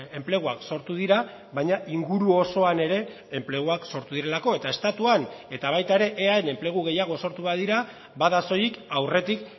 enpleguak sortu dira baina inguru osoan ere enpleguak sortu direlako eta estatuan eta baita ere eaen enplegu gehiago sortu badira bada soilik aurretik